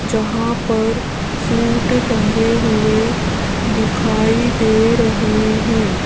जहां पर सूट टंगे हुए दिखाई दे रहे हैं।